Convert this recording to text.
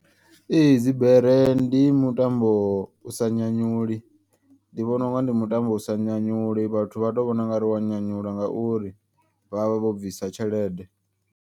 Ee dzibere ndi mutambo u sa nyanyuli ndi vhona unga ndi mutambo usa nyanyuli. Vhathu vha to vhona ungari wa nyanyula ngauri vhavha vho bvisa tshelede.